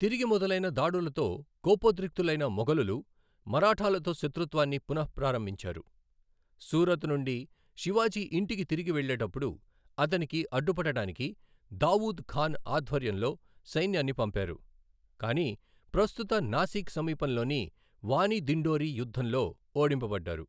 తిరిగి మొదలైన దాడులతో కోపోద్రిక్తులైన మొఘలులు మరాఠాలతో శత్రుత్వాన్ని పునఃప్రారంభించారు, సూరత్ నుండి శివాజీ ఇంటికి తిరిగి వెళ్ళేటప్పుడు అతనికి అడ్డుపడటానికి దావూద్ ఖాన్ ఆధ్వర్యంలో సైన్యాన్ని పంపారు, కాని ప్రస్తుత నాసిక్ సమీపంలోని వాని దిండోరి యుద్ధంలో ఓడింపబడ్డారు.